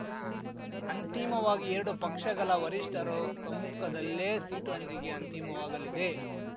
ಅಂತಿಮವಾಗಿ ಎರಡು ಪಕ್ಷಗಳ ವರಿಷ್ಠರು ಸಮ್ಮುಖದಲ್ಲೇ ಸೀಟು ಹಂಚಿಕೆ ಅಂತಿಮವಾಗಲಿದೆ